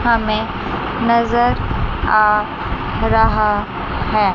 हमें नजर आ रहा है।